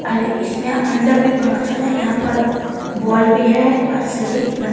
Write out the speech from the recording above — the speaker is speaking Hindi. अरे इसमें अंदर भी पंखा चला यहां पर बल्ब भी है और सीढ़ी लं--